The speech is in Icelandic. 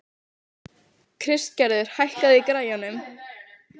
Kristgerður, hækkaðu í græjunum.